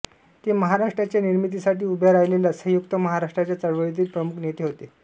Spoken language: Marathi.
ते महाराष्ट्राच्या निर्मितीसाठी उभ्या राहिलेल्या संयुक्त महाराष्ट्राच्या चळवळीतील प्रमुख नेते होते